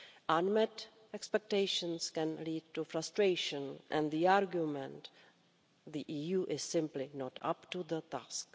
Unmet expectations can lead to frustration and the argument that the EU is simply not up to the task.